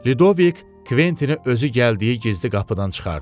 Lidovik Kventini özü gəldiyi gizli qapıdan çıxardı.